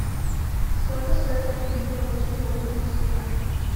сколько стоит купить белорусский рубль в москве